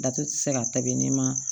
Datugu tɛ se ka tabi ne ma